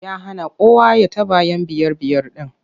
Ya hana kowa ya taɓa 'yan biyar-biyar ɗin.